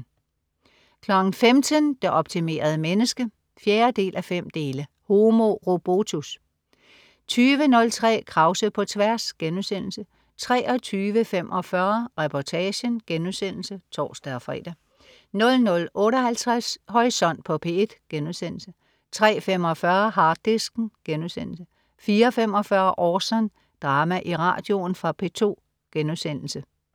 15.00 Det optimerede menneske 4:5. Homo robotus 20.03 Krause på tværs* 23.45 Reportagen* (tors-fre) 00.58 Horisont på P1* 03.45 Harddisken* 04.45 Orson. Drama i radioen. Fra P2*